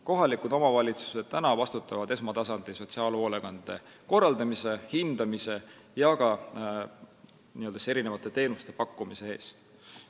Kohalikud omavalitsused vastutavad esmatasandi sotsiaalhoolekande korraldamise, hindamise ja ka teenuste pakkumise eest.